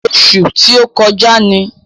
Ọṣù tí ó kọjá ni.